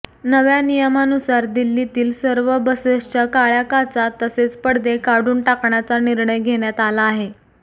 नव्या नियमानुसार दिल्लीतील सर्व बसेसच्या काळया काचा तसेच पडदे काढून टाकण्याचा निर्णय घेण्यात आला आहे